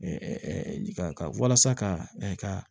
walasa ka